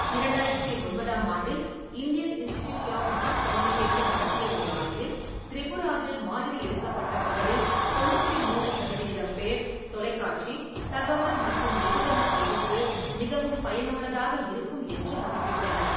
இரண்டாயிரத்தி ஒன்பதாம் ஆண்டில் Indian institute of mass communication நடத்திய ஒரு ஆய்வில், திரிபுராவில் மாதிரி எடுக்கப்பட்டவர்களில் தொன்னூற்றி மூன்று சதவிகிதம் பேர் தொலைக்காட்சி தகவல் மற்றும் வெகுஜன கல்விக்கு மிகவும் பயனுள்ளதாக இருக்கும் என்று மதிப்பிட்டனர்.